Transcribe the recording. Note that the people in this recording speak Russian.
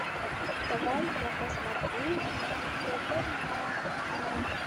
давай я посмотрю на тв мама